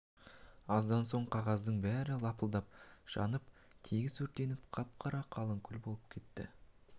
аздан соң қағаздың бәрі лапылдап жанып тегіс өртеніп қап-қара қалың күл боп кетті